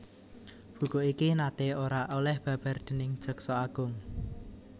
Buku iki naté ora oleh babar déning Jaksa Agung